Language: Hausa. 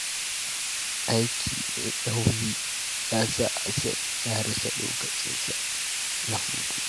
Aiki mai nauyi ya sa Hassan ya rasa lokacinsa na hutu.